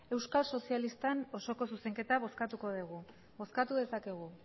euskal sozialisten osoko zuzenketa bozkatuko dugu bozkatu dezakegu